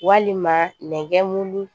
Walima nɛgɛ mun